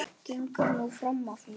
Gengur nú fram af mér!